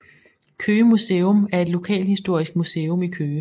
Køge Museum er et lokalhistorisk museum i Køge